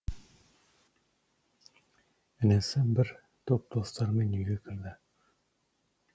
інісі бір топ достарымен үйге кірді